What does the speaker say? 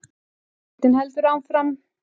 Leitin heldur áfram